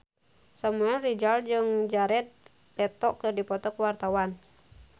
Samuel Rizal jeung Jared Leto keur dipoto ku wartawan